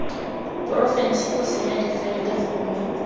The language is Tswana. porofense go senya difaele gongwe